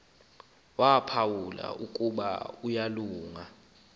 waphawula ukuba uyalunga